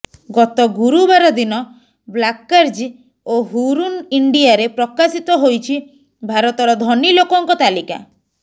ଗତ ଗୁରୁବାର ଦିନ ବାର୍କ୍ଲେଜ୍ ଓ ହୁରୁନ୍ ଇଣ୍ଡିଆରେ ପ୍ରକାଶିତ ହୋଇଛି ଭାରତର ଧନୀ ଲୋକଙ୍କ ତାଲିକା